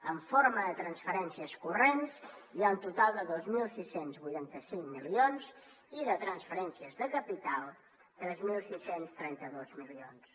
en forma de transferències corrents hi ha un total de dos mil sis cents i vuitanta cinc milions i de transferències de capital tres mil sis cents i trenta dos milions